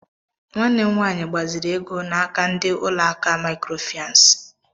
Nwanne m nwaanyị gbaziiri ego n'aka ndị ụlọ akụ mikrofinans.